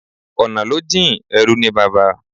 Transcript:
Ọ̀nà ló jìn-in, ẹrú ní bàbá.